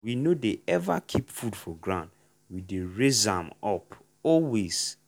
we no dey ever keep food for ground we dey raise am up always.